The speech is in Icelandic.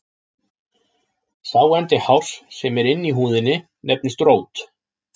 Sá endi hárs sem er inni í húðinni nefnist rót.